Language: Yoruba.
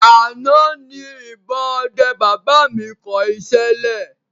Àná ni ìbọn ọdẹ baba mi kọ iṣẹ́ lẹ̀